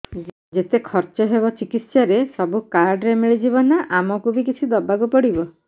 ଯେତେ ଖର୍ଚ ହେବ ଚିକିତ୍ସା ରେ ସବୁ କାର୍ଡ ରେ ମିଳିଯିବ ନା ଆମକୁ ବି କିଛି ଦବାକୁ ପଡିବ